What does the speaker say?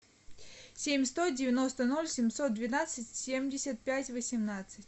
семь сто девяносто ноль семьсот двенадцать семьдесят пять восемнадцать